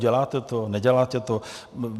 Děláte to, neděláte to?